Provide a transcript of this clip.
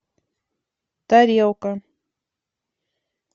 тарелка